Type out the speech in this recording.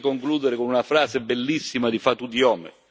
Vorrei concludere con una frase bellissima di Fatou Diome.